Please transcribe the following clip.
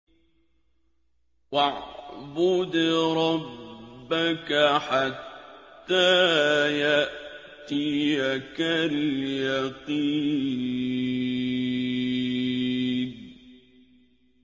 وَاعْبُدْ رَبَّكَ حَتَّىٰ يَأْتِيَكَ الْيَقِينُ